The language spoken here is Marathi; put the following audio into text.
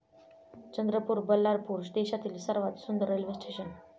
चंद्रपूर, बल्लारपूर देशातली सर्वात सुंदर रेल्वे स्टेशनं!